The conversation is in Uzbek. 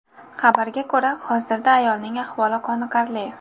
Xabarga ko‘ra, hozirda ayolning ahvoli qoniqarli.